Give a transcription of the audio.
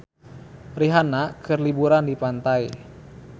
Rihanna keur liburan di pantai